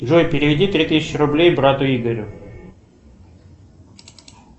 джой переведи три тысячи рублей брату игорю